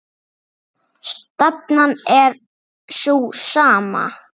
Stefnan er sú sama.